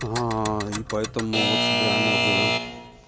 аа и поэтому вот собираем отзывы